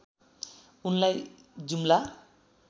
उनलाई जुम्ला